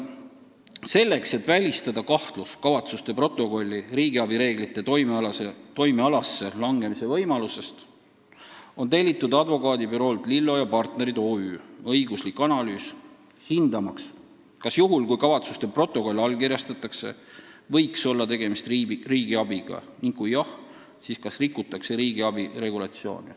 " Selleks et välistada kahtlus, ega kavatsuste protokoll ei või langeda riigiabireeglite toimealasse, on tellitud Advokaadibüroolt Lillo & Partnerid OÜ õiguslik analüüs hindamaks, kas juhul, kui kavatsuste protokoll allkirjastatakse, võiks olla tegemist riigiabiga, ning kui jah, siis kas rikutakse riigiabi regulatsiooni.